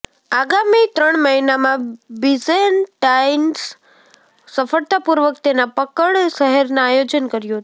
આગામી ત્રણ મહિનામાં બીઝેન્ટાઇન્સ સફળતાપૂર્વક તેના પકડ શહેરના આયોજન કર્યું હતું